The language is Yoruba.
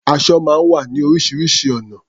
Aṣọ máa ń wá ní oríṣiríṣi ọ̀nà.